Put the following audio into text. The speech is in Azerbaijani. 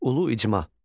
Ulu icma.